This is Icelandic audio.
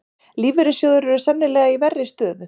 Lífeyrissjóðir eru sennilega í verri stöðu